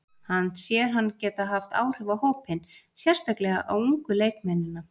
Hann sér hann geta haft áhrif á hópinn, sérstaklega á ungu leikmennina.